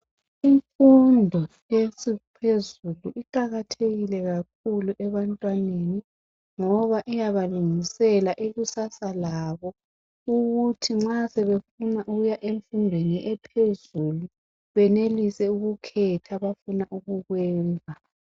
Imfundo ephezulu iqakathekile kakhulu ebantwaneni ngoba iyabalungisela ikusasa labo ukuthi nxa sebefuna ukuya emfundweni ephezulu benelise ukukhetha abafuna ukukwenza.